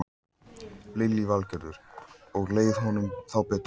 Lillý Valgerður: Og leið honum þá betur?